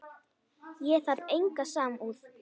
Ég þarf enga samúð.